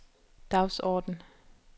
dagsorden